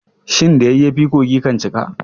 Shin da yayyafi kogi kan cika.